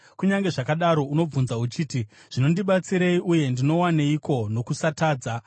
Kunyange zvakadaro unomubvunza uchiti, ‘Zvinondibatsirei, uye ndinowaneiko nokusatadza.’